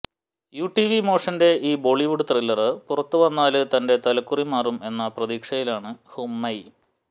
U T V മോഷന്റെ ഈ Bollywood thriller പുറത്തുവന്നാല് തന്റെ തലക്കുറി മാറും എന്ന പ്രതീക്ഷയിലാണ് ഹുമൈമ